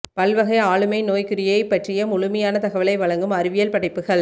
பல்வகை ஆளுமை நோய்க்குறியைப் பற்றிய முழுமையான தகவலை வழங்கும் அறிவியல் படைப்புகள்